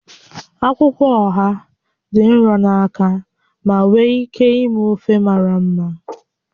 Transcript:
Akwụkwọ oha dị nro na aka ma nwee ike ime ofe mara mma